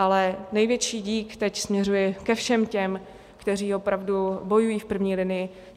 Ale největší dík teď směřuje ke všem těm, kteří opravdu bojují v první linii.